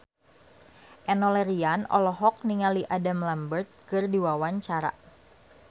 Enno Lerian olohok ningali Adam Lambert keur diwawancara